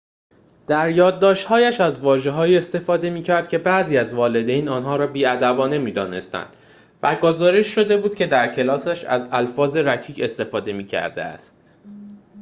در یادداشت‌هایش از واژه‌هایی استفاده می‌کرد که بعضی از والدین آنها را بی‌ادبانه می‌دانستند و گزارش شده بود که در کلاسش از الفاظ رکیک استفاده می‌کرده است